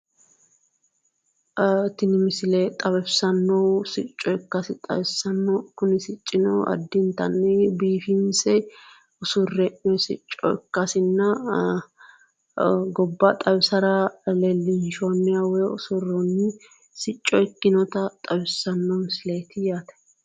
Tini misle xawisannohu sicco ikkasi xawissanno kuni siccino addintanni biiffinse usurre hee'noy sicco ikkasinna gobba xawisara leellishshoniha woy usurronni sico ikkinota xawissanno misileeti yaate